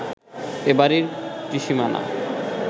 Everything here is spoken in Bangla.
এ বাড়ির ত্রিসীমানা